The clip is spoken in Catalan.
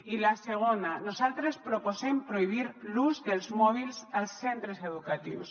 i la segona nosaltres proposem prohibir l’ús dels mòbils als centres educatius